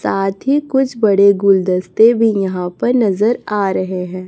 साथ ही कुछ बड़े गुलदस्ते भी यहां पर नजर आ रहे हैं।